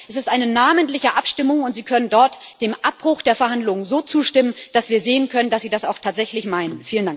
2. Es ist eine namentliche Abstimmung, und Sie können dort dem Abbruch der Verhandlungen so zustimmen, dass wir sehen können, dass Sie das auch tatsächlich meinen.